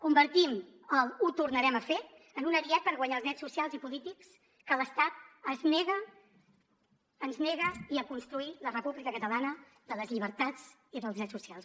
convertim el ho tornarem a fer en un ariet per guanyar els drets socials i polítics que l’estat ens nega i a construir la república catalana de les llibertats i dels drets socials